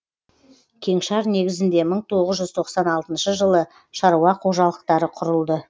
кеңшар негізінде мың тоғыз жүз тоқсан алтыншы жылы шаруа қожалықтары құрылды